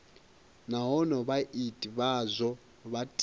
nahone vhaiti vhazwo vha tea